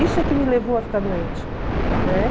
Isso é que me levou a ficar doente, né?